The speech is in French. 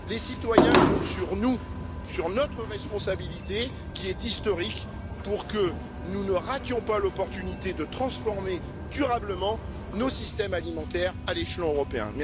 Les citoyens comptent sur nous, sur notre responsabilité qui est historique, pour que nous ne rations pas l'opportunité de transformer durablement nos systèmes alimentaires à l'échelon européen.